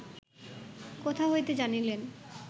কোথা হইতে জানিলেন